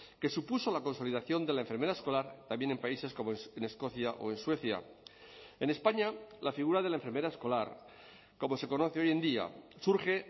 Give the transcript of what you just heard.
que supuso la consolidación de la enfermera escolar también en países como en escocia o en suecia en españa la figura de la enfermera escolar como se conoce hoy en día surge